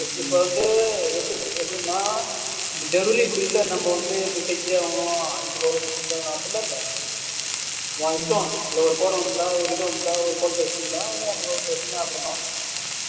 இப்ப வந்து எப்படி எப்படின்னா இப்படி இல்லை நம்ம வந்து இப்படி செஞ்சாகனும் ஐந்து call க்கு செஞ்சாகனும் அப்படிலாம் இல்லை உன் இஷ்டம் இதுல ஒரு கோடு வந்திட்டா ஒரு இது வந்துட்டா ஒரு அப்படித்தான்